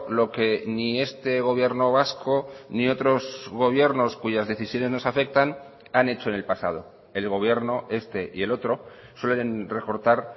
lo que ni este gobierno vasco ni otros gobiernos cuyas decisiones nos afectan han hecho en el pasado el gobierno este y el otro suelen recortar